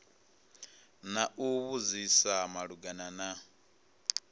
na u vhudzisa malugana na